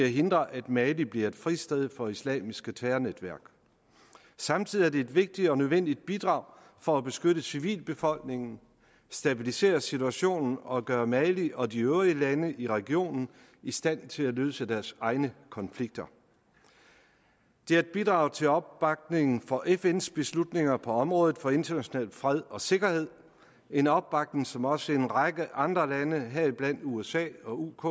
hindre at mali bliver et fristed for islamiske terrornetværk samtidig er det et vigtigt og nødvendigt bidrag for at beskytte civilbefolkningen stabilisere situationen og gøre mali og de øvrige lande i regionen i stand til at løse deres egne konflikter det er et bidrag til opbakning for fns beslutninger på området for international fred og sikkerhed en opbakning som også en række andre lande heriblandt usa og uk